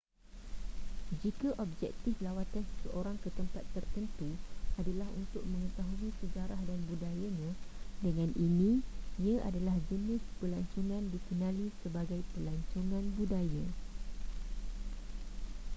jika objektif lawatan seseorang ke tempat tertentu adalah untuk mengetahui sejarah dan budayanya dengan in ia adalah jenis pelancongan dikenali sebagai pelancongan budaya